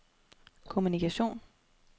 kommunikation